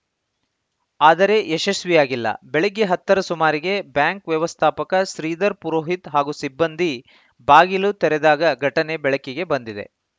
ಆದರೆ ಯಶಸ್ವಿಯಾಗಿಲ್ಲ ಬೆಳಗ್ಗೆ ಹತ್ತರ ಸುಮಾರಿಗೆ ಬ್ಯಾಂಕ್‌ ವ್ಯವಸ್ಥಾಪಕ ಶ್ರೀಧರ ಪುರೋಹಿತ್‌ ಹಾಗೂ ಸಿಬ್ಬಂದಿ ಬಾಗಿಲು ತೆರೆದಾಗ ಘಟನೆ ಬೆಳಕಿಗೆ ಬಂದಿದೆ